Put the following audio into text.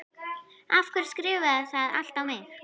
Af hverju skrifarðu það allt á mig?